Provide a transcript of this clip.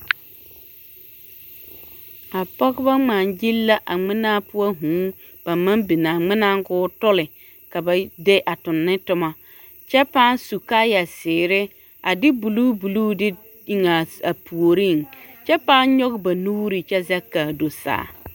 A pɔgebɔ ŋmaa-gyili la a ŋmenaa poɔ vūū ba naŋ biŋ a ŋmenaaŋ k'o tole ka ba de a toŋ ne toma kyɛ pãã su kaaya zeere a de buluu buluu dw eŋ a puoriŋ kyɛ pãã nyɔge ba nuuri kyɛ zɛge k'a do saa.